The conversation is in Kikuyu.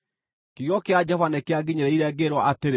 Kiugo kĩa Jehova nĩkĩanginyĩrĩire, ngĩĩrwo atĩrĩ: